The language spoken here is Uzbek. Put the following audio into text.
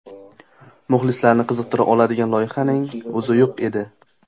Muxlislarni qiziqtira oladigan loyihaning o‘zi yo‘q edi.